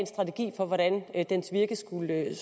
strategi for hvordan dens virke skulle være